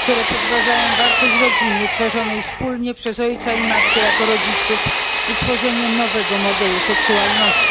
podważaniem wartość rodziny tworzonej wspólnie przez ojca i matkę jako rodziców i tworzeniem nowego modelu seksualności.